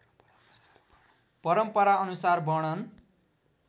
परम्पराअनुसार वर्णन